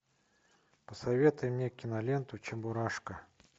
посоветуй мне киноленту чебурашка